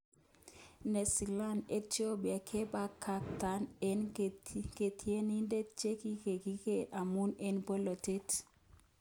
Desalagn: Ethiopia 'kebakakta eng katiagnatet'chekigakiker amun eng bolotet